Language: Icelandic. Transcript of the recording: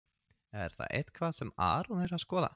Er það eitthvað sem Aron er að skoða?